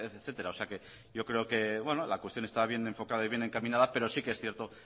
etcétera o sea que yo creo que la cuestión está bien enfocada y bien encaminada pero sí que es cierto